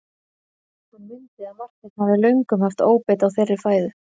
Hann mundi að Marteinn hafði löngum haft óbeit á þeirri fæðu.